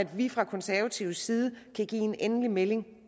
vi fra konservativ side kan give en endelig melding